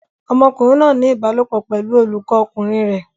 Ọmọkùnrin náà ń ní ìbálòpọ̀ pẹ̀lú olùkọ́ ọkùnrin rẹ̀.